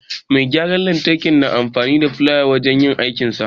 Mai gyaran lantarki na amfani da filaya wajen yin aikinsa.